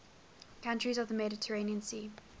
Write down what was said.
countries of the mediterranean sea